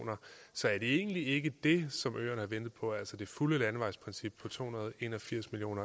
så er det egentlig ikke det som øerne har ventet på altså det fulde landevejsprincip på to hundrede og en og firs million